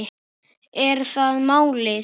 Er það málið?